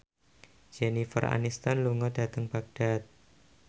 Jennifer Aniston lunga dhateng Baghdad